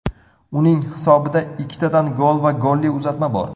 Uning hisobida ikkitadan gol va golli uzatma bor.